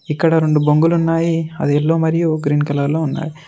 ఇక్కడ రొండు బొంగులు ఉన్నాయి అది ఎల్లో మరియు గ్రీన్ కలర్ లో ఉన్నాయి.